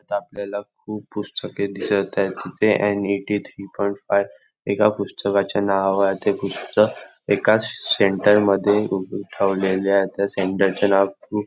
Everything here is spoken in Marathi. इथं आपल्याला खूप पुस्तके दिसत आहेत तिथे N eighty three point five एका पुस्तकाचे नाव आहे ते पुस्तक एकाच सेंटर मध्ये उप ठेवलेले आहे त्या सेंटर चे नाव खूप--